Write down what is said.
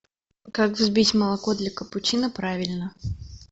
как взбить молоко для капучино правильно